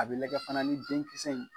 A bɛ lajɛ fana ni denkisɛ in